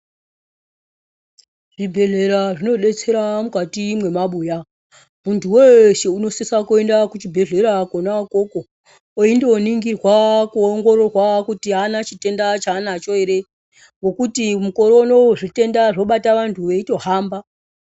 Zvibhedhlera zvinodetsera mukati memabuya muntu weshe anosisa kuenda kuchibhedhlera Kona ikoko weindoningirwa ongororwa kuti hana chitenda chanacho ere ngokuti mukore unowu zvitenda zvotobate antu eitohamba.